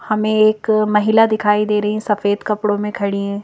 हमे एक महिला दिखाई दे रही हैं सफेद कपड़ों में खड़ी हैं।